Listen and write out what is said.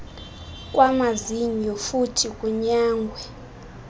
kwamazinyo futhi kunyangwe